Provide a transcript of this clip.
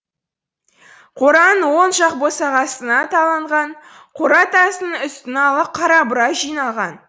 қораның оң жақ босағасына қаланған қора тасының үстін ала қарабура жинаған